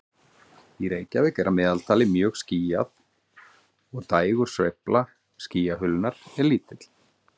Í Reykjavík er að meðaltali mjög skýjað og dægursveifla skýjahulunnar er lítil.